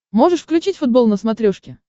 можешь включить футбол на смотрешке